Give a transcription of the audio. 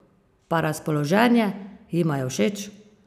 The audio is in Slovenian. Pa razpoloženje, jima je všeč?